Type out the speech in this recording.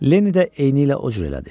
Lenny də eynilə o cür elədi.